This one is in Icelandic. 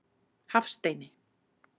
Hafsteini